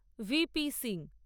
V P Singh